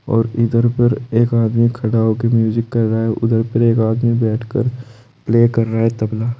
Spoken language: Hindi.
और इधर पर एक आदमी खड़ा होके म्यूजिक कर रहा है उधर पर एक आदमी बैठकर प्ले कर रहा है तबला।